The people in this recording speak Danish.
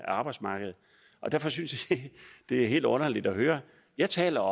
arbejdsmarkedet derfor synes jeg det er helt underligt at høre jeg taler